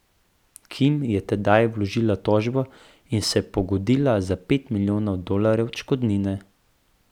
Kim je tedaj vložila tožbo in se pogodila za pet milijonov dolarjev odškodnine.